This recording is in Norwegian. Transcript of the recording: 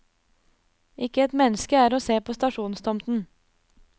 Ikke et menneske er å se på stasjonstomten.